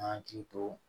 Hakili to